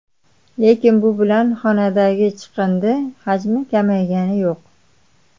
Lekin bu bilan xandaqdagi chiqindi hajmi kamaygani yo‘q.